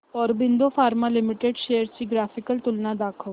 Aurobindo pharma limited shares ची graphical तुलना दाखव